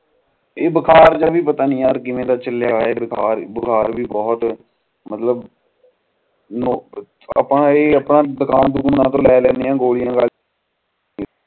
ਇਹ ਬੁਖਾਰ ਜਾ ਵੀ ਪਤਾ ਨੀ ਕਿਵੇਂ ਦਾ ਚਲਿਆ ਆ ਬਸ ਆਪਾਂ ਦੁਕਾਨ ਦੂਕੂੰ ਤੇ ਲੈ ਲੈਂਦੇ ਆ ਗੋਲ਼ੀਆਂ